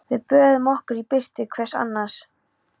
Við böðuðum okkur í birtu hvors annars.